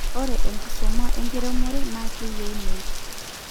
ore enkisuma enkiremore naa keyieunoi